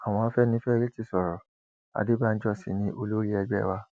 àwọn afẹnifẹre ti sọrọ adébànjọ sí ni olórí ẹgbẹ wa